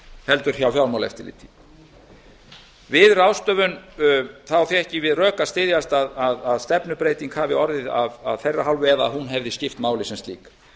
heldur hjá fjármálaeftirliti við ráðstöfun fékk ég við rök að styðjast að stefnubreyting hafi orðið af þeirra hálfu ef hún hefði skipt máli sem slík